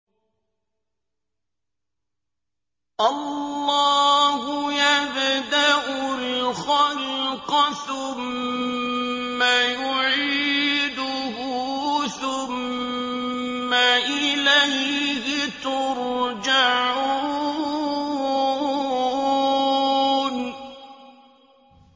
اللَّهُ يَبْدَأُ الْخَلْقَ ثُمَّ يُعِيدُهُ ثُمَّ إِلَيْهِ تُرْجَعُونَ